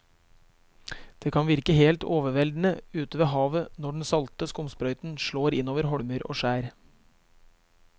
Det kan virke helt overveldende ute ved havet når den salte skumsprøyten slår innover holmer og skjær.